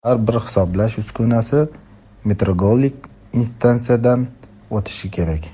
Har bir hisoblash uskunasi metrologik instansiyadan o‘tishi kerak.